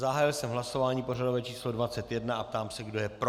Zahájil jsem hlasování pořadové číslo 21 a ptám se, kdo je pro.